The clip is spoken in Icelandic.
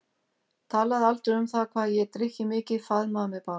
Talaði aldrei um það hvað ég drykki mikið, faðmaði mig bara.